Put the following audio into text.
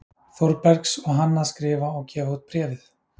Þórbergs og hann að skrifa og gefa út Bréfið.